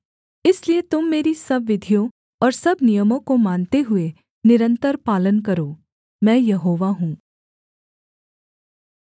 इसलिए तुम मेरी सब विधियों और सब नियमों को मानते हुए निरन्तर पालन करो मैं यहोवा हूँ